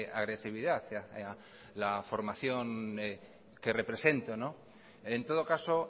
agresividad a la formación que represento en todo caso